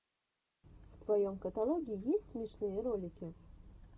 в твоем каталоге есть смешные ролики